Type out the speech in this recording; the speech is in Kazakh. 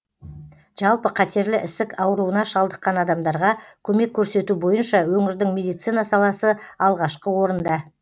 жалпы қатерлі ісік ауруына шалдыққан адамдарға көмек көрсету бойынша өңірдің медицина саласы алғашқы орында